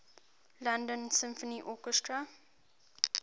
london symphony orchestra